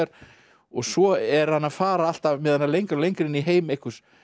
og svo er hann að fara alltaf með hana lengra og lengra inn í heim einhvers